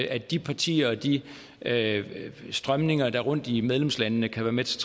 at de partier og de strømninger der rundt i medlemslandene kan være med til